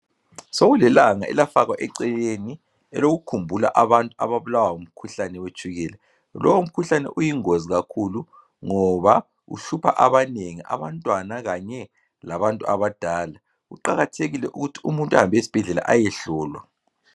Sokulelanga elafakwa eceleni elokukhumbula abantu ababulawa ngumkhuhlane wetshukela. Lowu mkhuhlane uyingozi kakhulu ngoba uhlupha abanengi abantwana kanye labantu abadala, kuqakathekile ukuthi umuntu ahambe esibhedlela ayehlolwa.